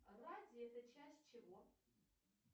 радий это часть чего